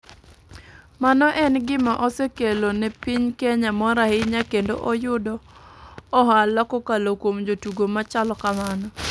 Mano en gima osekelo ne piny kenya mor ahinya kendo oyudo ohala kokalo kuom jotugo machalo kamano.